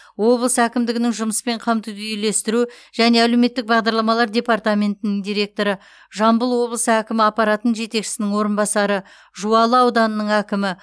облыс әкімдігінің жұмыспен қамтуды үйлестіру және әлеуметтік бағдарламалар департаментінің директоры жамбыл облысы әкімі аппаратының жетекшісінің орынбасары жуалы ауданының әкімі